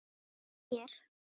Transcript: Þóknast mér?